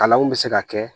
Kalanw bɛ se ka kɛ